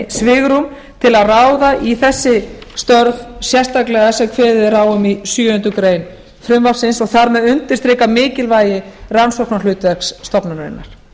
svigrúm til að ráða í þessi starf sérstaklega sem kveðið er á um í sjöundu greinar frumvarpsins og þar með undirstrikað mikilvægi rannsóknarhlutverk stofnunarinnar